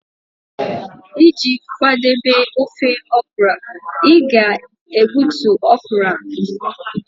Iji kwadebe ofe okra, ị ga-egbutu okra mbụ